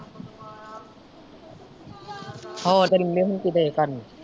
ਹੋਰ ਫੇਰ ਨਿੰਮੇ ਹੋਣੇ ਕੀ ਦਏ ਕਰਨ।